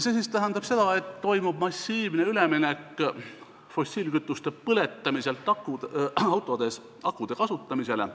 See tähendab, et toimub massiivne üleminek fossiilkütuste põletamiselt autodes akude kasutamisele.